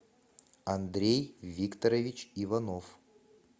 андрей викторович иванов